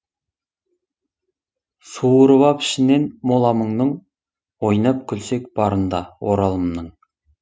суырып ап ішінен мола мұңның ойнап күлсек барында оралымның